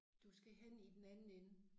Du skal hen i den anden ende